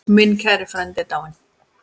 Minn kæri frændi er dáinn.